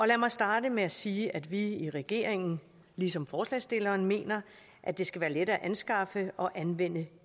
lad mig starte med at sige at vi i regeringen ligesom forslagsstillerne mener at det skal være let at anskaffe og anvende